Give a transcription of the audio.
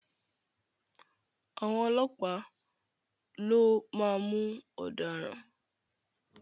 À̀wọn ọlọ́pàá lo máa mú ọ̀daràn.